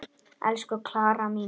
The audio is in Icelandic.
Elsku Klara mín.